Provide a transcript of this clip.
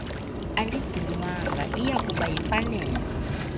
aligcinwanga iyakuba yimfanelo